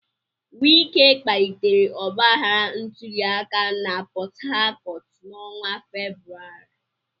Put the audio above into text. Wike kpalitere ọgbaghara ntuli aka na Port Harcourt n'ọnwa Febụwarị.